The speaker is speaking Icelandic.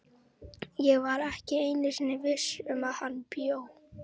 Ég var ekki einu sinni viss um hvar hann bjó.